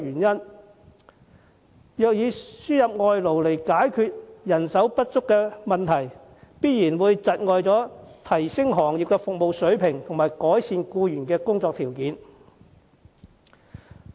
如以輸入外勞解決人手不足的問題，必然有礙提升行業服務水平和改善僱員的工作條件。